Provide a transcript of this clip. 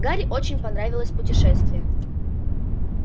гарри очень понравилось путешествие